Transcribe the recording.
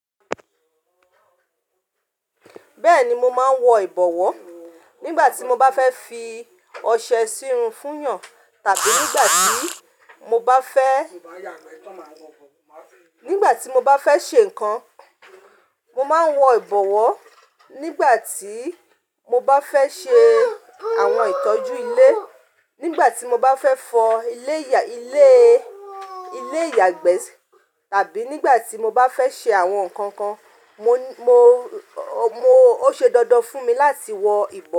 Bẹ́ẹ̀ni, mo máa ń wọ ìbọ̀wọ́ nígbà tí mo bá fẹ́ fi ọṣẹ sírun fún yàn tàbí nígbà tí mo bá fẹ́, nígbà tí mo bá fẹ́ ṣe nǹkan. Mo máa ń wọ ìbọ̀wọ́ nígbà tí mo bá fẹ́ ṣe àwọn ìtọ́jú ilé, nígbà tí mo bá fẹ́ fọ ilé ìyàgbẹ́ tàbí nígbà tí mo bá fẹ́ ṣe àwọn nǹkan kan. Mo, mo, ó ṣe dandan fún mi láti wọ ìbọ̀